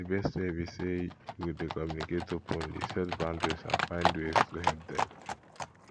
di best way be say you go dey communicate openly set boundaries and find ways to help dem